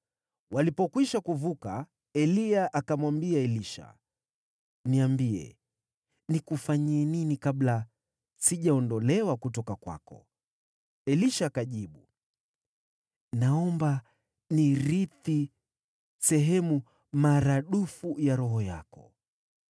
Walipokwisha kuvuka, Eliya akamwambia Elisha, “Niambie, nikufanyie nini kabla sijaondolewa kutoka kwako?” Elisha akajibu, “Naomba nirithi sehemu maradufu ya roho yako.”